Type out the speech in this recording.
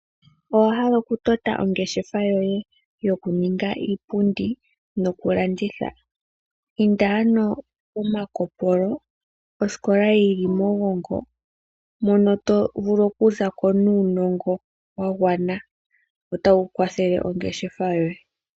Owa hala okutota ongeshefa yoye nokulanditha inda ano kOmalukopolo osikola yili mOgongo mono to vulu okuza ko nuunongo wa gwana mbu tawu kwathele ongeshefa yoye.